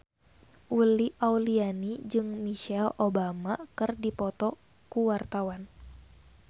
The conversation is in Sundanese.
Uli Auliani jeung Michelle Obama keur dipoto ku wartawan